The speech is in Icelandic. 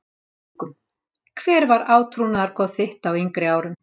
Haukum Hver var átrúnaðargoð þitt á yngri árum?